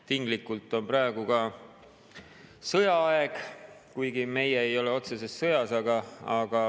Tinglikult on praegu ka sõjaaeg, kuigi meie ei ole otseses sõjas.